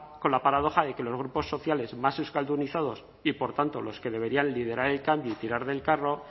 con la paradoja de que los grupos sociales más euskaldunizados y por tanto los que deberían liderar el cambio y tirar del carro